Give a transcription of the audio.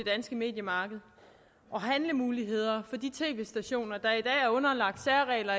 danske mediemarked og handlemuligheder for de tv stationer der er underlagt særregler